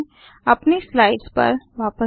अपनी स्लाइड्स पर वापस जाएँ